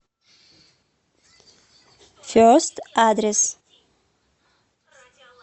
фест адрес